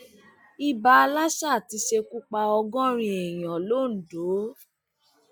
ìbá lásà ti ṣekú pa ọgọrin èèyàn londo